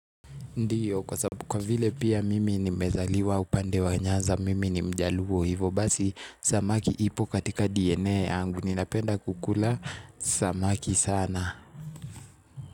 Ndiyo kwa sabu kwa vile pia mimi ni mezaliwa upande wa nyanza mimi ni mjaluo hivo basi samaki ipo katika DNA angu ni napenda kukula samaki sana.